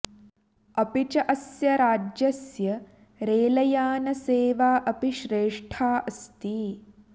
अपि च अस्य राज्यस्य रेलयानसेवा अपि श्रेष्ठा अस्ति